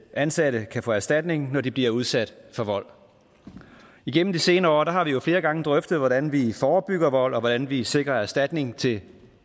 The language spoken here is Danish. ansatte kan få erstatning når de bliver udsat for vold igennem de senere år har vi jo flere gange drøftet hvordan vi forebygger vold og hvordan vi sikrer erstatning til